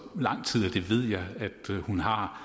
lang tid det ved jeg at hun har